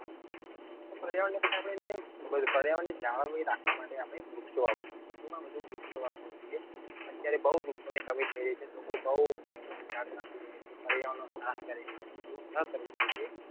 પર્યાવરણ ને પછી આપડે પર્યાવરણ ની જાળવણી રાખવા માટે આપડે વૃક્ષો વાવવા જોઈએ વધુ માં વધુ વૃક્ષો વાવવા જોઈએ અત્યારે બઉ વૃક્ષો ની કમી થઈ રહી છે લોકો બઉ ઝાડ કાપી રહ્યા છે પર્યાવરણ નો નાશ કરી રહ્યા છે એવું નાં કરવું જોઈએ